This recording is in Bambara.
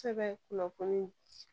Sɛbɛn kunnafoni